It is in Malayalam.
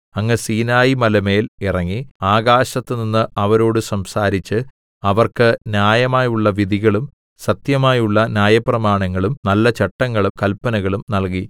അങ്ങ് സീനായിമലമേൽ ഇറങ്ങി ആകാശത്തുനിന്ന് അവരോട് സംസാരിച്ച് അവർക്ക് ന്യായമായുള്ള വിധികളും സത്യമായുള്ള ന്യായപ്രമാണങ്ങളും നല്ല ചട്ടങ്ങളും കല്പനകളും നൽകി